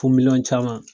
Fo miliyɔn caman